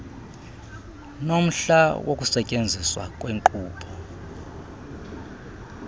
nomhla wokusetyenziswa kwenkqubo